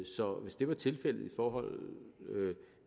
så hvis det var tilfældet i forhold